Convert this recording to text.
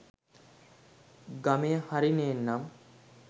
ගමය හරි නේන්නම්.